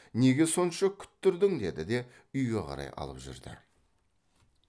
неге сонша күттірдің деді де үйге қарай алып жүрді